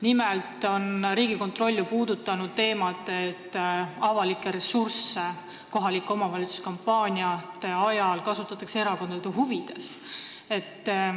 Nimelt on Riigikontroll ju puudutanud teemat, et avalikke ressursse kasutatakse kohaliku omavalitsuse kampaaniate ajal erakondade huvides.